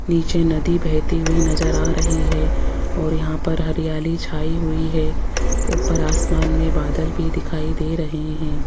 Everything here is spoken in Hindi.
नीचे नदी बहती हुई नज़र आ रही है और यहां पर हरियाली छाई हुई है ऊपर आसमान मे बादल भी दिखाई दे रहे हैं।